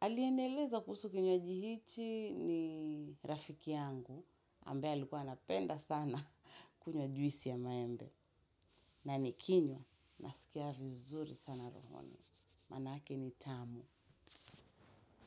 Aliyenieleza kuhusu kinywaji hichi ni rafiki yangu, ambaye alikuwa anapenda sana kunywa juisi ya maembe. Na nikinywa, nasikia vizuri sana rohoni. Maana yake ni tamu.